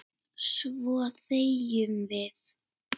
Svo þegjum við.